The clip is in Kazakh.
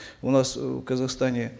у нас э в казахстане